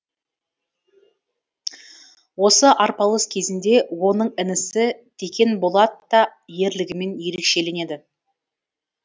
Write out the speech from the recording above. осы арпалыс кезінде оның інісі текенболат та ерлігімен ерекшеленеді